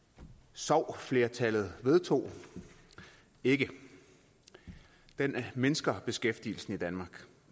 sov flertallet vedtog ikke den mindsker beskæftigelsen i danmark